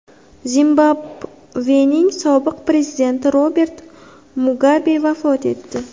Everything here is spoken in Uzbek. Zimbabvening sobiq prezidenti Robert Mugabe vafot etdi.